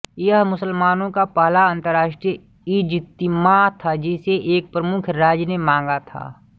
यह मुसलमानों का पहला अंतर्राष्ट्रीय इजतिमाअ था जिसे एक प्रमुख राज्य ने मांगा था